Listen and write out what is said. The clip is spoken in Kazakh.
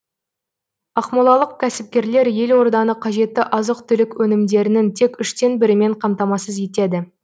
ақмолалық кәсіпкерлер елорданы қажетті азық түлік өнімдерінің тек үштен бірімен қамтамасыз етеді